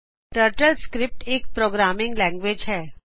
TurtleScript ਇਕ programming language ਹੈ